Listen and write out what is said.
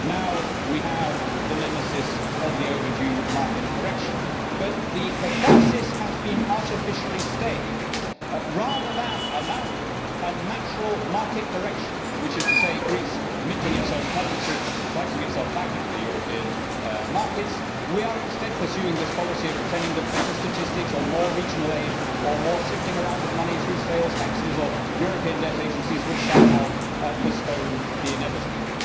Now we have the nemesis of the overdue market correction. But the catharsis has been artificially stayed. Rather than allowing a natural market correction, which is to say, Greece minting its own currency and pricing itself back into the European markets, we are instead pursuing this policy of pretending that better statistics or more regional aid or more shifting around of money through sales taxes or European debt agencies will somehow postpone the inevitable.